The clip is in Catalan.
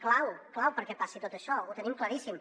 clau clau perquè passi tot això ho tenim claríssim